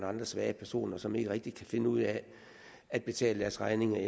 andre svage personer og som ikke rigtig kan finde ud af at betale deres regninger